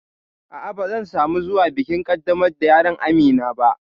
A'a, ba zan samu zuwa bikin ƙaddamar da yaron Amina ba